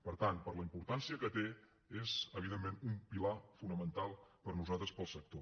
per tant per la importància que té és evidentment un pilar fonamental per nosaltres per al sector